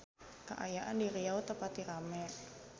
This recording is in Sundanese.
Kaayaan di Riau teu pati rame